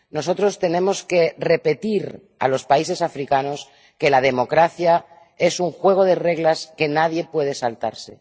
Nosotros tenemos que repetir a los países africanos que la democracia es un juego de reglas que nadie puede saltarse.